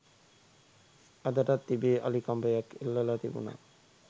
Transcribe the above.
අදටත් තිබේ අලි කඹයක් එල්ලලා තිබුණා